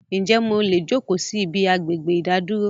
Ń jẹ́ mò lè jókò síí ibi agbègbè ìdádúró